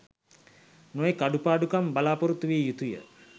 නොයෙක් අඩුපාඩුකම් බලාපොරොත්තු විය යුතුය.